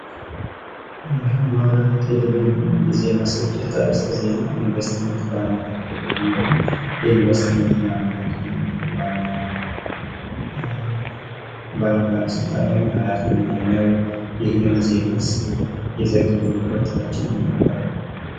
የአማራ ቴሌቪዥን የዜና ስርጭት አርእስተ ዜና ኢንቨስትመንት በአማራ ክልል የሚል ነው። ኢንቨስትመንት በአማራ ክልል ዋና ባለስልጣን ወይም ኃላፊው ማን ነው? ይህንን ዜናስ የዘገበው ሪፖርተራችን ማን ይባላል?